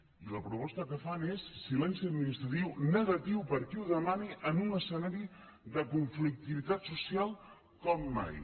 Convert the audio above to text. i la proposta que fan és silenci administratiu negatiu per a qui ho demani en un escenari de conflictivitat social com mai